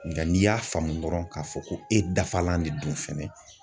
Nga n'i y'a faamu dɔrɔn k'a fɔ ko e dafalan de don fɛnɛ